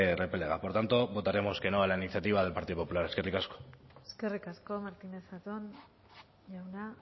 repelega por tanto votaremos que no a la iniciativa del partido popular eskerrik asko eskerrik asko martínez zatón jauna